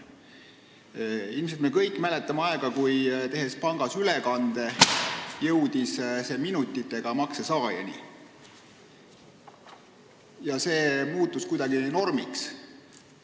Tõenäoliselt me kõik mäletame aega, kui tehes pangas ülekande, jõudis see minutitega makse saajani ja see muutus kuidagi normiks.